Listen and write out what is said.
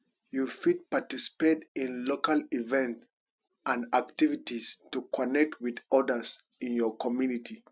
you fit participate in local events and activites to connect with odas in your communty